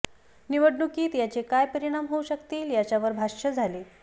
निवडणुकीत याचे काय परिणाम होऊ शकतील याच्यावर भाष्य झाले